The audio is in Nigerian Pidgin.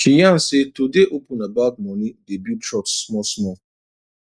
she yan say to dey open about money dey build trust small small